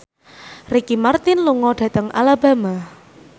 Ricky Martin lunga dhateng Alabama